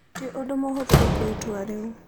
Ti ũndũ mũhũthũ gũtua itua rĩu.